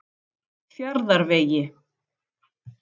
Fjarðarvegi